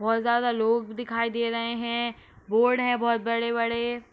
बहोत ज्यादा लोग दिखाई दे रहे हैं। बोर्ड है बहोत बड़े-बड़े।